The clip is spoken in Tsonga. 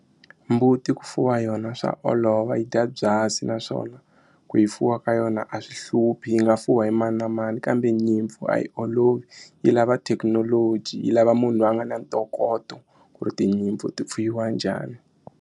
Mbuti ku fuwa yona swa olova yi dya byasi naswona ku yi fuwa ka yona a swi hluphi yi nga fuwa hi mani na mani kambe nyimpfu a yi olovi yi lava thekinoloji yi lava munhu loyi a nga na ntokoto ku ri tinyimpfu ti fuyiwa njhani.